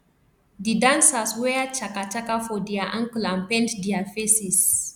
di dancers wear chaka chaka for dia ankle and paint dia faces